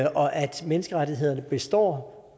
menneskerettighederne består